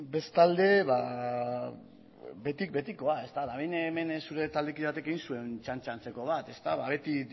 bestalde betikoa hemen zure taldekide batek egin zuen txantxa antzeko bat beti